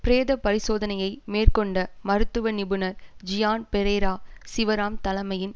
பிரேத பரிசோதனையை மேற்கொண்ட மருத்துவ நிபுணர் ஜியான் பெரேரா சிவராம் தலமையின்